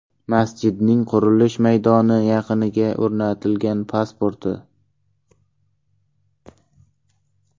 Masjidning qurilish maydoni yaqiniga o‘rnatilgan pasporti.